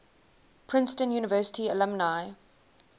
princeton university alumni